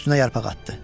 Üstünə yarpaq atdı.